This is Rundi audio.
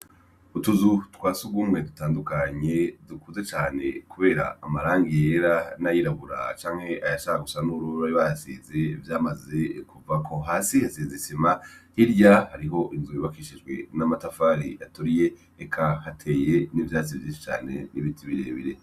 Utuzu twa surwumwe dutandukanye, dukuze cane kubera amarangi yera, n'ayirabura canke ayashaka gusa n'ubururu bari bahasize vyamaze kuvako. Hasi hasize isima, hirya hariho inzu yubakishijwe n'amatafari aturiye, eka hateye n'ivyatsi vyinshi cane n'ibiti birebire.